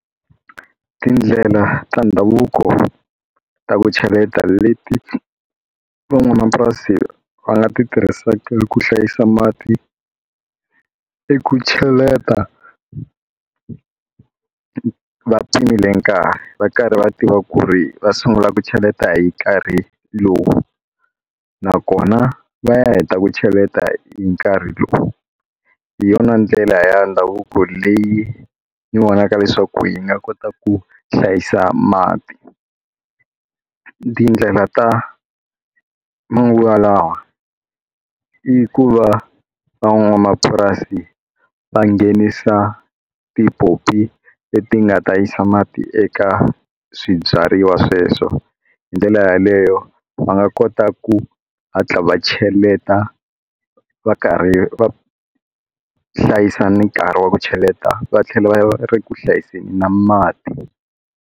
Tindlela ta ndhavuko ta ku cheleta leti van'wamapurasi va nga ti tirhisaka ku hlayisa mati i ku cheleta va pimile nkarhi va karhi va tiva ku ri va sungula ku cheleta hi karhi lowu nakona va ya heta ku cheleta hi nkarhi lowu hi yona ndlela ya ndhavuko leyi ni vonaka leswaku yi nga kota ku hlayisa mati tindlela ta manguva lawa i ku va van'wamapurasi va nghenisa tipopi leti nga ta yisa mati eka swibyariwa sweswo hi ndlela yaleyo va nga kota ku hatla va cheleta va karhi va hlayisa ni nkarhi wa ku cheleta va tlhela va ri ku hlayiseni na mati.